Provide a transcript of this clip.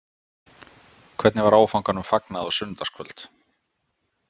Hvernig var áfanganum fagnað á sunnudagskvöld?